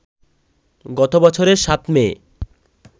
গত বছরের ৭ মে